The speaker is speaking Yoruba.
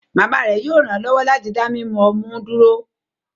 Mama rẹ yoo ranlọwọ lati da mimu ọmú duro